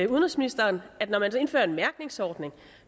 udenrigsministeren at når man i danmark indfører en mærkningsordning